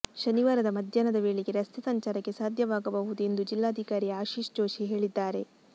ಶನಿವಾರ ಮಧ್ಯಾಹ್ನದ ವೇಳೆಗೆ ರಸ್ತೆ ಸಂಚಾರಕ್ಕೆ ಸಾಧ್ಯವಾಗಬಹುದು ಎಂದು ಜಿಲ್ಲಾಧಿಕಾರಿ ಆಶೀಶ್ ಜೋಶಿ ಹೇಳಿದ್ದಾರೆ